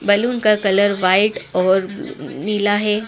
Balloon का colour white और नीला है।